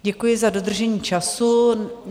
Děkuji za dodržení času.